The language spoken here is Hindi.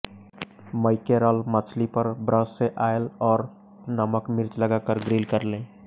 मैकेरल मछली पर ब्रश से ऑयल और नमक मिर्च लगाकर ग्रिल कर लें